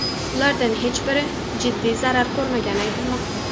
Ulardan hech biri jiddiy zarar ko‘rmagani aytilmoqda.